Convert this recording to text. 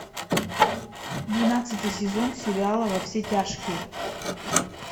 двенадцатый сезон сериала во все тяжкие